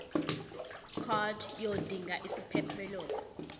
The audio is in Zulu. card yodinga isiphephelok